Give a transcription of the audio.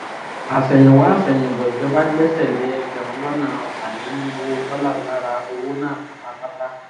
àsẹ̀yìnwá àsẹ̀yìnbọ̀ ìjọba gbẹ́sẹ̀ lé ẹgbẹ̀rún lọ́nà ọ̀tàlénírínwó dọ́là lára owó náà pátápátá